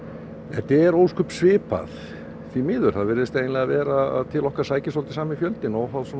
þetta er ósköp svipað því miður það virðist vera að til okkar sæki sami fjöldinn óháð